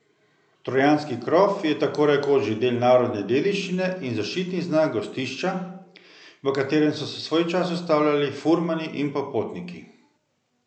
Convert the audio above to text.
Trojanski krof je tako rekoč že del narodne dediščine in zaščitni znak gostišča, v katerem so se svoj čas ustavljali furmani in popotniki.